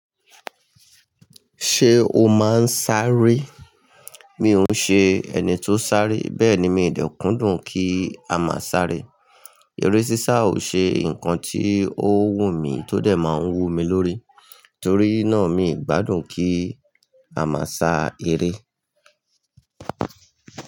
Ṣé o máa ń sáré? Mi ò ṣe ẹni tó ń sáré, bẹ́ẹ̀ ni mi ò dẹ́ kùndùn kí a máa sáré. Eré sísá ò ṣe ǹkan tí ó wùmí tó dẹ̀ máa ń wú mi lórí. Torí náà mi i gbádùn kí a máa sá eré.